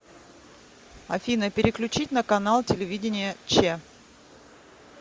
афина переключить на канал телевидения че